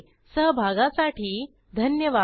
सहभागासाठी धन्यवाद